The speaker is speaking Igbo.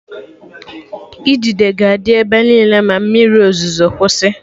Idide ga-adị ebe niile ma mmiri ozuzo kwụsị